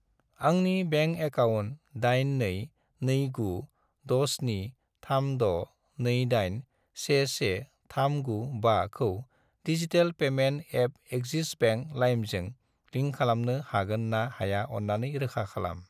आंनि bank account 822967362811395 खौ digital payment app Axis bank लाइमजों लिंक खालामनो हागोन ना हाया अन्नानै रोखा खालाम।